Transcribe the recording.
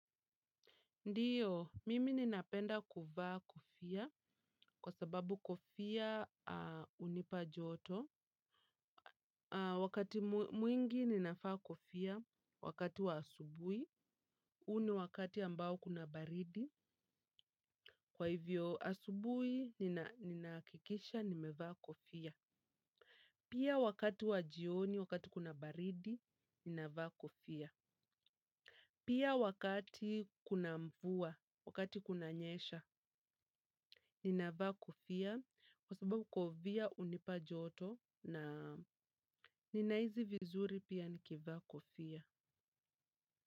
Ndiyo, mimi ninapenda kuvaa kofia kwa sababu kofia hunipa joto. Wakati mwingi ninavaa kofia, wakati wa asubuhi, huu ni wakati ambao kuna baridi. Kwa hivyo asubuhi, ninahakikisha, nimevaa kofia. Pia wakati wa jioni, wakati kuna baridi, ninavaa kofia. Pia wakati kuna mvua, wakati kunanyesha, ninavaa kofia. Kwa sababu kofia hunipa joto na ninahisi vizuri pia nikivaa kofia.